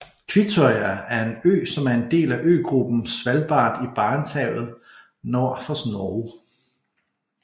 Kvitøya er en ø som er en del af øgruppen Svalbard i Barentshavet nord for Norge